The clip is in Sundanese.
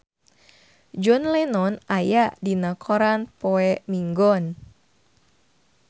John Lennon aya dina koran poe Minggon